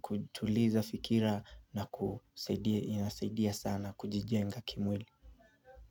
kutuliza fikira na kusaidia inasaidia sana kujijenga kimwili.